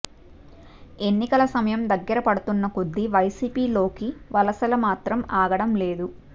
ఎన్నికల సమయం దగ్గర పడుతున్న కొద్దీ వైసీపీ లోకి వలసలు మాత్రం ఆగడం లేదు